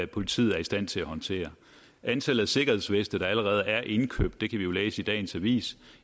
politiet er i stand til at håndtere antallet af sikkerhedsveste der allerede er indkøbt det kan vi jo læse i dagens avis